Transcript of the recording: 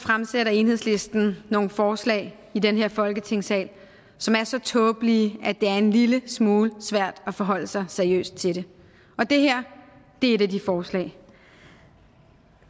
fremsætter enhedslisten nogle forslag i den her folketingssal som er så tåbelige at det er en lille smule svært at forholde sig seriøst til det og det her er et af de forslag